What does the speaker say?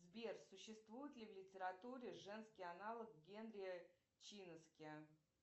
сбер существует ли в литературе женский аналог генри чинаски